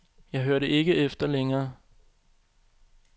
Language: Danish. Jeg hørte ikke efter længere.